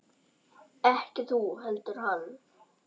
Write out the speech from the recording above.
Ekki þú heldur hann.